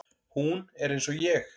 Hún er eins og ég.